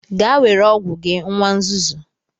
Gaa were ọgwụ gị nwa nzuzu!